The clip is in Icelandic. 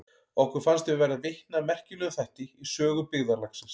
Okkur fannst við verða vitni að merkilegum þætti í sögu byggðarlagsins.